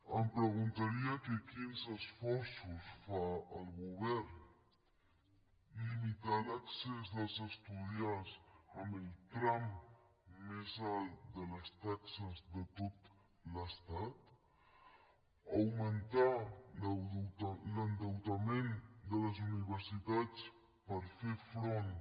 em preguntaria que quins esforços fa el govern li·mitar l’accés dels estudiants amb el tram més alt de les taxes de tot l’estat augmentar l’endeutament de les universitats per fer front